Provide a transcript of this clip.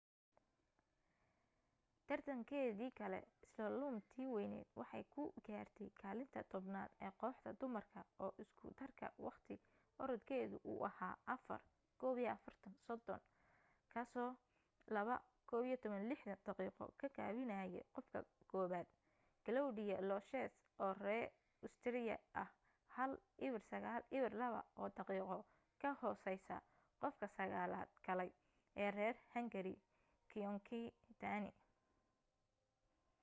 tartankeedii kale slalom-tii waynayd waxay ku gaartay kaalinta tobnaad ee kooxda dumarka oo isku darka waqti orodkeedu uu ahaa 4:41.30 kaasoo 2:11.60 daqiiqo ka gaabinayay qofka koobaad claudia loesch oo ree usteeriya ah 1:09.02 oo daqiiqo ka hooseysa qofka sagaalaad galay ee reer hangari gyöngyi dani